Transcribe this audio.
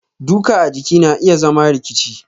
duka a jiki na iya zama rikici.